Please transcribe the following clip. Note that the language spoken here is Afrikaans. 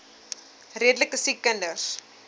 redelike siek kinders